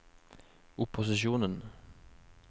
opposisjonen